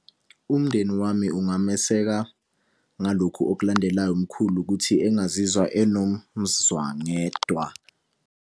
Umndeni wami ungameseka ngalokhu okulandelayo umkhulu ukuthi engazizwa enomuzwangedwa.